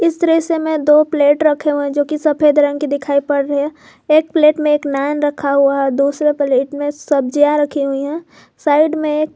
इस दृश्य मे दो प्लेट रखें हुए जो की सफेद रंग की दिखाई पड़ रही है एक प्लेट में एक नान रखा हुआ है दूसरा प्लेट में सब्जियां रखी हुई है साइड में--